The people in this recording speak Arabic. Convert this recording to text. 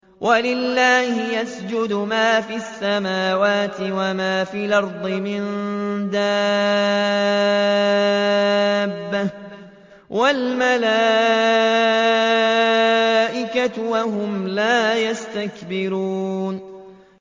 وَلِلَّهِ يَسْجُدُ مَا فِي السَّمَاوَاتِ وَمَا فِي الْأَرْضِ مِن دَابَّةٍ وَالْمَلَائِكَةُ وَهُمْ لَا يَسْتَكْبِرُونَ